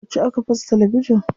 Yauce aka fasa talabijin?